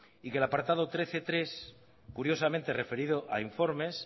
y que el apartado trece punto tres curiosamente referido a informes